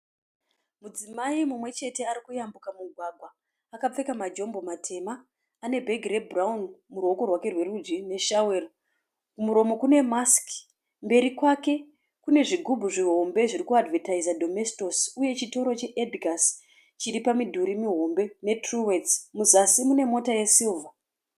Mudzimai mumwe chete arikuyambuka mugwagwa akapfeka majombo matema ane bhegi rebhurawuni muruoko rwake rwerudyi neshawero kumuromo kune masiki mberi kwake kune zvigubhu zvihombe zviri kuadhivhetaiza domestos uye chitoro che Edgars chiri pamidhuri mihombe ne Truworths muzasi mune mota yesirivha.